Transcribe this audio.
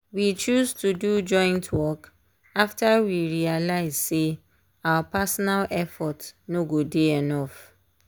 we choose to do joint work after we realize say our personal effort no go dey enough.